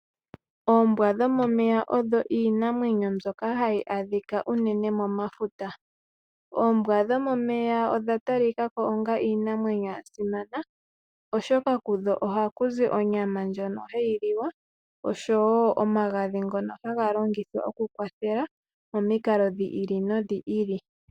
Oombwa dhomomeya odho iinamwenyo myoka hayi adhika unene mo mafuta. Oombwa dhomomeya odha talika ko onga iinamwenyo ya simana, oshoka kudho ohaku zi onyama ndjono hayi liwa, oshowo omagadhi ngono haga longithwa oku kwathela, momikalo dhi ili nodhi ili.